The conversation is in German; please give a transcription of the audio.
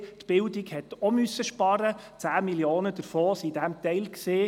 auch die Bildung musste sparen, 10 Mio. Franken befanden sich in diesem Teil.